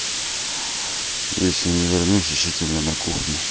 если не вернусь ищите меня на кухне